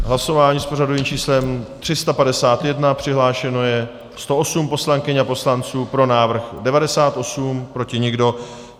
Hlasování s pořadovým číslem 351, přihlášeno je 108 poslankyň a poslanců, pro návrh 98, proti nikdo.